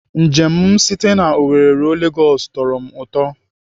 Njem m site na Owerri ruo Legosi tọrọ m ụtọ.